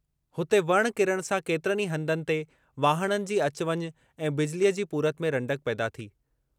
हुते वण किरणु सां केतिरनि ई हंधनि ते वाहणनि जी अचु वञु ऐं बिजलीअ जी पूरति में रंडक पैदा थी।